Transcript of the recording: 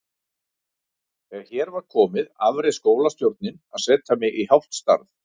Þegar hér var komið afréð skólastjórnin að setja mig í hálft starf.